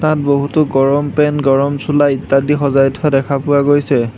তাত বহুতো গৰম পেন্ট গৰম চোলা ইত্যাদি সজাই থোৱা দেখা পোৱা গৈছে।